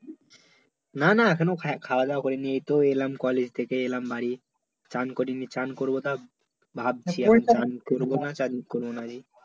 না, না এখনো খাওয়া-দাওয়া করিনি এইতো এলাম college থেকে এলাম বাড়ি, স্নান করিনি স্নান করবো তা ভাবছি স্নান করবো না স্নান করবো না রে